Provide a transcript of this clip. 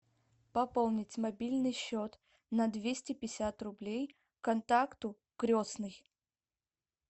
пополнить мобильный счет на двести пятьдесят рублей контакту крестный